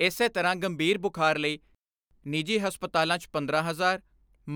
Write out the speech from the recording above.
ਇਸੇ ਤਰ੍ਹਾਂ ਗੰਭੀਰ ਬੁਖਾਰ ਲਈ ਨਿੱਜੀ ਹਸਪਤਾਲਾਂ 'ਚ ਪੰਦਰਾਂ ਹਜ਼ਾਰ